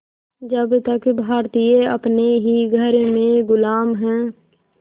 जब तक भारतीय अपने ही घर में ग़ुलाम हैं